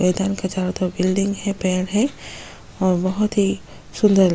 मैदान का चारों तरफ बिल्डिंग है पेड़ है और बहुत ही सुंदल --